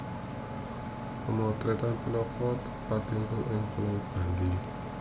Pemotretan punika tepatipun ing Pulau Bali